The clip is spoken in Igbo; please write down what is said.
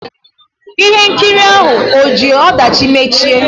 Ihe nkiri ahụ ò ji ọdachi mechie?